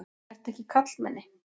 Ertu ekki karlmenni?